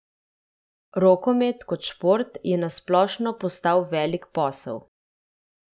Rokomet kot šport je na splošno postal velik posel.